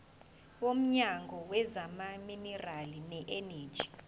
womnyango wezamaminerali neeneji